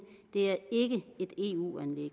det er ikke et